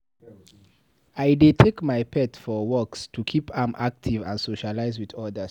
I dey take my pet for walks to keep am active and socialize with others.